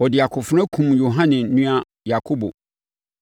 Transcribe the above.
Ɔde akofena kumm Yohane nua Yakobo.